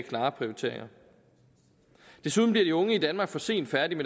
klare prioriteringer desuden bliver de unge i danmark for sent færdige